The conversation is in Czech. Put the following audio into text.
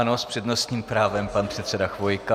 Ano, s přednostním právem pan předseda Chvojka.